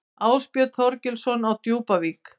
Ásbjörn Þorgilsson á Djúpavík